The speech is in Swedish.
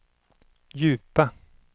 djupa